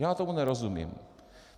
Já tomu nerozumím.